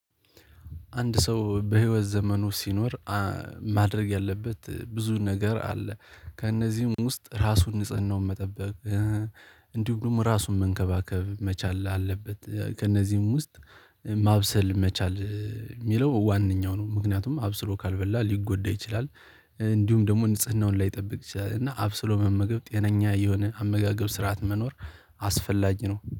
አንድ ሰው በህይወት ዘመኑ ሲኖር ማድረግ ያለበት ብዙ ነገር አለ ከእነዚህም ውስጥ ራሱን ንጽህናውን መጠበቅ። እንዲሁም ደግሞ ራሱን መንከባከብ መቻል አለበት። ከእነዚህም ውስጥ ማብሰል መቻል የሚለው ዋነኛው ነው ምክንያቱም አብስሎ ካልበላ ሊጎዳ ይችላል። እንዲሁም ደግሞ ንጽህናውን ላይጠብቅ ይችላል እና አብስሎ መመገብ ጤነኛ የሆነ አመጋገብ ስርዓት መኖር አስፈላጊ ነው